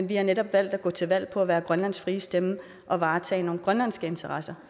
vi har netop valgt at gå til valg på at være grønlands frie stemme og varetage nogle grønlandske interesser